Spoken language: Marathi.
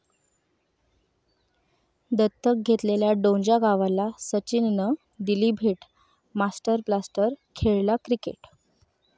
दत्तक घेतलेल्या डोंजा गावाला सचिननं दिली भेट, 'मास्टर ब्लास्टर' खेळला क्रिकेट